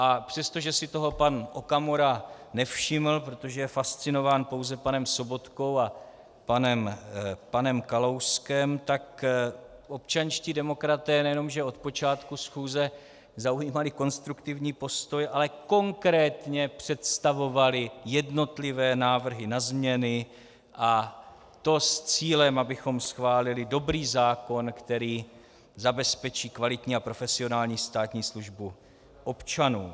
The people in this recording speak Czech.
A přestože si toho pan Okamura nevšiml, protože je fascinován pouze panem Sobotkou a panem Kalouskem, tak občanští demokraté nejenom že od počátku schůze zaujímali konstruktivní postoj, ale konkrétně představovali jednotlivé návrhy na změny, a to s cílem, abychom schválili dobrý zákon, který zabezpečí kvalitní a profesionální státní službu občanům.